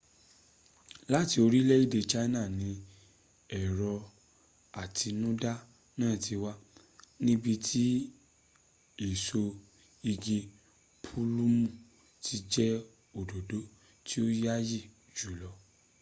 láti orílèèdè china ni èrò àtinúdá náà ti wá níbi tí èso igi púlùmù ti jẹ́ òdòdó tí ó yááyì jùlọ